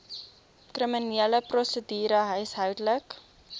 kriminele prosedure huishoudelike